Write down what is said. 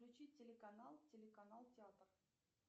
включи телеканал телеканал театр